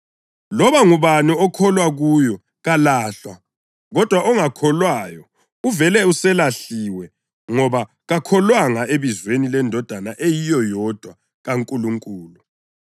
Loba ngubani okholwa kuyo kalahlwa, kodwa ongakholwayo uvele uselahliwe ngoba kakholwanga ebizweni leNdodana eyiyo yodwa kaNkulunkulu.